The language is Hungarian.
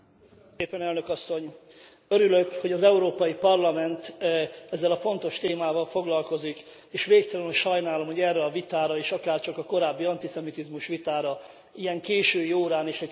Örülök, hogy az Európai Parlament ezzel a fontos témával foglalkozik, és végtelenül sajnálom, hogy erre a vitára is akárcsak a korábbi antiszemitizmus vitára ilyen késői órán és szinte üres teremben kerül sor.